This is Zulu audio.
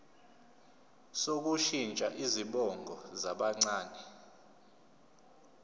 sokushintsha izibongo zabancane